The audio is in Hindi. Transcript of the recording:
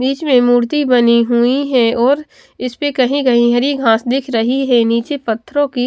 बीच में मूर्ति बनी हुई है और इसपे कहीं कहीं हरी घास दिख रही है नीचे पत्थरों की --